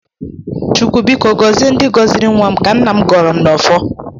Chukwu biko gọzie ndị gọziri nnwa m ka nna m gọrọ n'ọfọ